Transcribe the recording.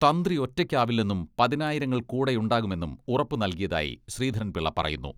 തന്ത്രി ഒറ്റയ്ക്കാവില്ലെന്നും പതിനായിരങ്ങൾ കൂടെയുണ്ടാകുമെന്നും ഉറപ്പു നൽകിയതായി ശ്രീധരൻപിള്ള പറയുന്നു.